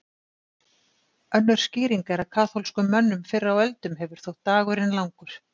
Önnur skýring er að kaþólskum mönnum fyrr á öldum hefur þótt dagurinn langur.